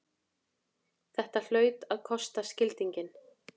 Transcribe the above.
Þetta hlaut að kosta skildinginn!